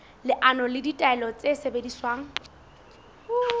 leano le ditaelo tse sebediswang